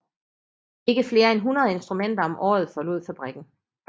Ikke flere end 100 instrumenter om året forlod fabrikken